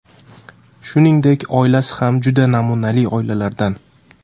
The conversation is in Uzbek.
Shuningdek, oilasi ham juda namunali oilalardan.